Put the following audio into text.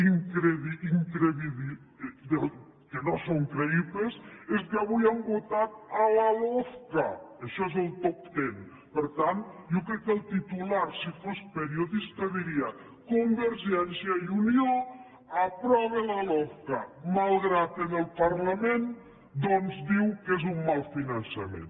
del que no són creïbles és que avui han votat la lofca això és el top tentitular si fos periodista diria convergència i unió aprova la lofca malgrat que en el parlament doncs diu que és un mal finançament